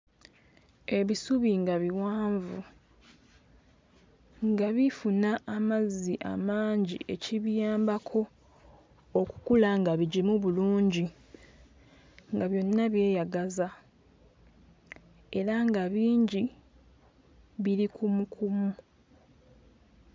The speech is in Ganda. Ebisubi nga biwanvu nga bifuna amazzi amangi ekibiyambako okukula nga bigimu bulungi nga byonna byeyagaza era nga bingi biri kumukumu.